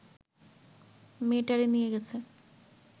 মেয়েটারে নিয়া গেছে